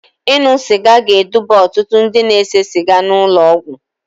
Ịṅụ sịga ga-eduga ọtụtụ ndị na-ese siga n'ụlọ ọgwụ